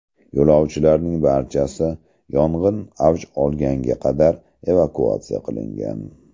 Yo‘lovchilarning barchasi yong‘in avj olgunga qadar evakuatsiya qilingan.